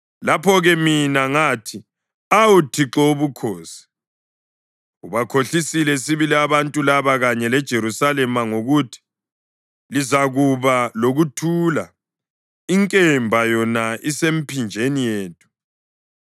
Lapho-ke mina ngathi, “Awu, Thixo Wobukhosi, ubakhohlisile sibili abantu laba kanye leJerusalema ngokuthi, ‘Lizakuba lokuthula,’ inkemba yona isemiphinjeni yethu!”